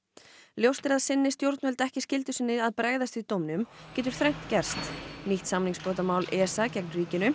ljóst er að sinni stjórnvöld ekki skyldu sinni að bregðast við dóminum getur þrennt gerst nýtt samningsbrotamál ESA gegn ríkinu